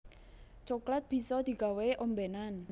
Coklat bisa digawé ombénan